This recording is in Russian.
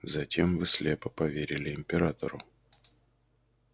затем вы слепо поверили императору